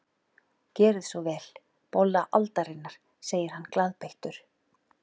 Gerið svo vel, bolla aldarinnar, segir hann glaðbeittur.